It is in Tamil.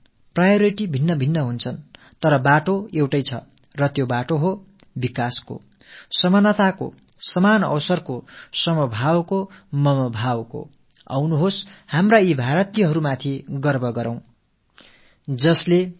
ஒவ்வொருவரின் தேவையும் வேறுபட்டு இருக்கின்றது நம்முடைய முன்னுரிமைகள் வித்தியாசமானவை என்றாலும் வழி என்னவோ ஒன்று தான் அந்தப் பாதை முன்னேற்றம் சமத்துவம் சமவாய்ப்பு அனைவரும் சமமானவர்கள் அனைவரும் எம் மக்கள் என்ற உணர்வு ஆகியவை தாம்